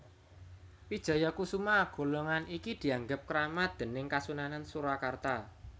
Wijayakusuma golongan iki dianggep kramat déning Kasunanan Surakarta